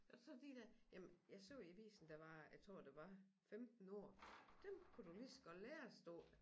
Og så de dér jamen jeg så i avisen der var jeg tror det var 15 ord dem kunne du lige så godt lære stod der